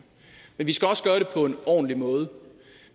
vi skal også gøre det på en ordentlig måde